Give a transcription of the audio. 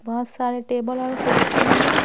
बहुत सारे टेबल और कुर्सी भी है।